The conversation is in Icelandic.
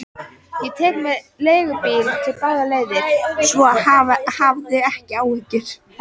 Ég tek mér leigubíl báðar leiðir, svo hafðu ekki áhyggjur.